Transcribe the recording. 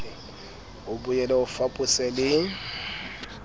o boele o fapose le